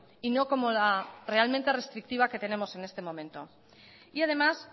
y no como la realmente restrictiva que tenemos en este momento y además